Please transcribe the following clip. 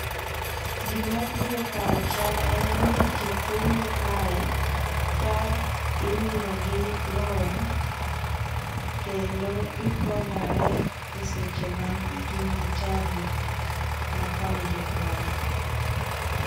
Gimabiro e pacha en ni ji kungo kae ka imiyogi loan kendo gikonyore e seche magin gi tabu makoni gi koni.